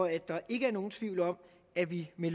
at der ikke er nogen tvivl om at vi med